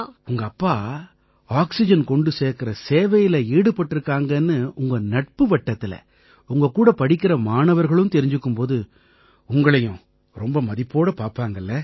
உங்க அப்பா ஆக்சிஜன் கொண்டு சேர்க்கற சேவையில ஈடுபட்டிருக்காங்கன்னு உங்க நட்பு வட்டத்தில உங்க கூட படிக்கற மாணவர்களும் தெரிஞ்சுக்கும் போது உங்களையும் ரொம்ப மதிப்போட பார்ப்பாங்க இல்லை